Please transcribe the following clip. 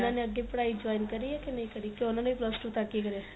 ਉਹਨਾ ਨੇ ਅੱਗੇ ਪੜਾਈ join ਕਰੀ ਏ ਕੇ ਨਹੀਂ ਕਰੀ ਕੇ ਉਹਨਾ ਨੇ ਵੀ plus two ਤੱਕ ਈ ਕਰਿਆ